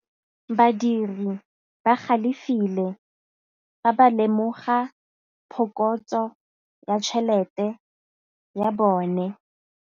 Badiri ba galefile fa ba lemoga phokotsô ya tšhelête ya bone.